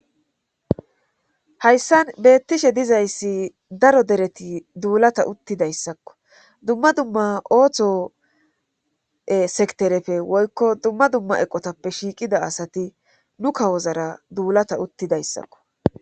hayssan beettishe dizayssi daro dereti duulata uttidayssakko dumma dumma ooththosekterefe woykko dumma dumma eqotappe shiiqida asati nu kawozara duulata uttidayssakko